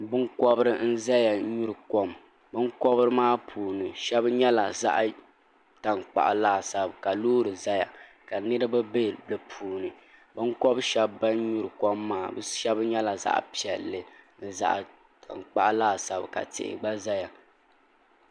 binkobiri n ʒɛya nyuri kom binkobiri maa puuni shab nyɛla zaɣ tankpaɣu laasabu ka loori ʒɛya ka niraba bɛ di puuni binkobi shab bin nyuri kom maa shab nyɛla zaɣ piɛlli ni zaɣ tankpaɣu laasabu ka tihi gba ʒɛya